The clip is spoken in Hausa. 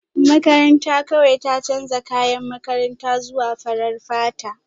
Makaranta kawai ta canza kayan makaranta zuwa farar fata